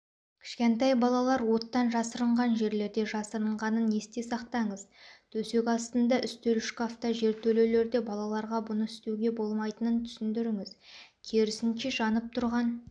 кішкентай балалар оттан жасырынған жерлерде жасырынғанын есте сақтаңыз төсек астында үстел шкафта жертөлелерде балаларға бұны істеуге болмайтынын түсіндіріңіз керісінше жанып тұрған